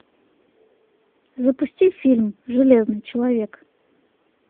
запусти фильм железный человек